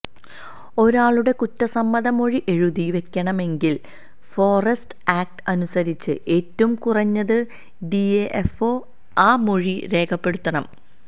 ഒരാളുടെ കുറ്റസമ്മത മൊഴി എഴുതി വയ്ക്കണമെങ്കിൽ ഫോറസ്റ്റ് ആക്ട് അനുസരിച്ച് ഏറ്റവും കുറഞ്ഞത് ഡിഎഫ്ഒ ആ മൊഴി രേഖപ്പെടുത്തണം